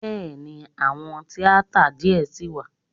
Bẹ́ẹ̀ni, àwọn tíátà díẹ̀ ṣì wà.